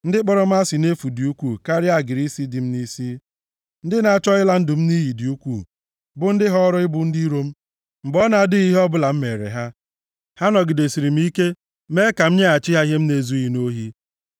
Ndị kpọrọ m asị nʼefu dị ukwuu karịa agịrị isi dị m nʼisi. Ndị na-achọ ịla ndụ m nʼiyi dị ukwuu, bụ ndị họọrọ ịbụ ndị iro m, mgbe ọ na-adịghị ihe ọbụla m mere ha. Ha nọgidesịrị m ike mee ka m nyeghachi ihe m na-ezughị nʼohi.